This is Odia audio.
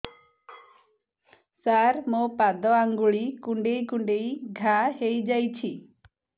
ସାର ମୋ ପାଦ ଆଙ୍ଗୁଳି କୁଣ୍ଡେଇ କୁଣ୍ଡେଇ ଘା ହେଇଯାଇଛି